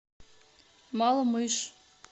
малмыж